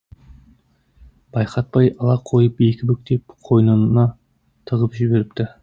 байқатпай ала қойып екі бүктеп қойныны тығып жіберіпті